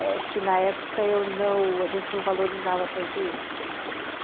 Acho que na época eu não, a gente não valorizava tanto isso.